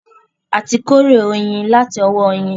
A ti kórè oyin láti ọwọ́ oyin